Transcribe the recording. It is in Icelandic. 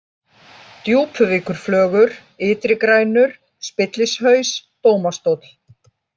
Djúpuvíkurflögur, Ytri-Grænur, Spillishaus, Dómastóll